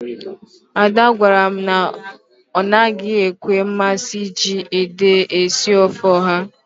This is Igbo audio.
Ada gwara m na ọ naghị enwe mmasị iji ede esi ofe ọha.